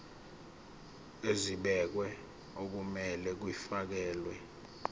ezibekiwe okumele kufakelwe